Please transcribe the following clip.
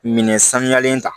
Minɛn sanuyalen ta